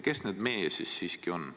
Kes need "me" ikkagi on?